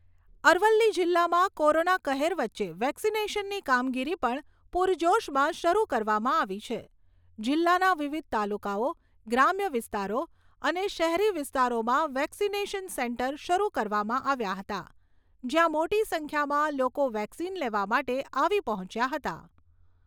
અરવલ્લી જિલ્લામાં કોરોના કહેર વચ્ચે વેક્સિનેશનની કામગીરી પણ પૂરજોશમાં શરૂ કરવામાં આવી છે. જિલ્લાના વિવિધ તાલુકાઓ, ગ્રામ્ય વિસ્તારો અને શહેરી વિસ્તારોમાં વેક્સિનેશન સેન્ટર શરૂ કરવામાં આવ્યા હતા, જ્યાં મોટી સંખ્યામાં લોકો વેક્સિન લેવા માટે આવી પહોંચ્યા હતા.